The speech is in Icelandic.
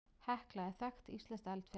Hekla er þekkt íslenskt eldfjall.